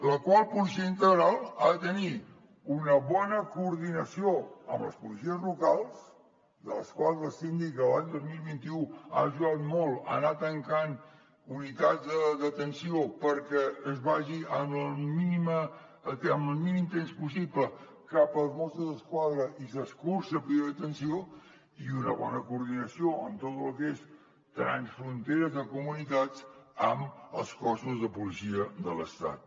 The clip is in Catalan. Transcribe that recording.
aquesta policia integral ha de tenir una bona coordinació amb les policies locals de les quals el síndic l’any dos mil vint u ha ajudat molt a anar tancant unitats de detenció perquè es vagi amb el mínim temps possible cap als mossos d’esquadra i s’escurci el període de detenció i una bona coordinació amb tot el que és transfronteres de comunitats amb els cossos de policia de l’estat